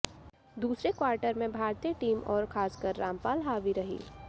दूसरे क्वार्टर में भारतीय टीम और खासकर रामपाल हावी रही